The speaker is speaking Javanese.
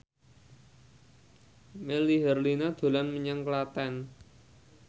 Melly Herlina dolan menyang Klaten